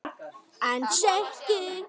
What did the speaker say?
Hinn seki.